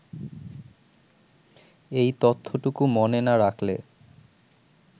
এই তথ্যটুকু মনে না রাখলে